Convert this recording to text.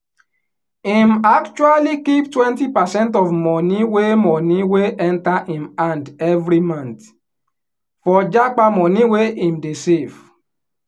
him actually keep twenty percent of money wey money wey enter him hand every month for japa money wey him dey save